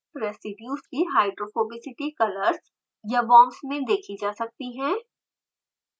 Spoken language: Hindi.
रेसीड्यूज़ की hydrophobicity colors या worms में देखी जा सकती है